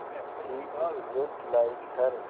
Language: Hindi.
she is just like her